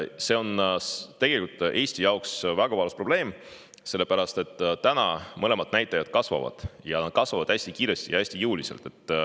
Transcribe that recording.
on Eesti jaoks tegelikult väga valus probleem, sest need mõlemad näitajad kasvavad, nad kasvavad hästi kiiresti ja hästi jõuliselt.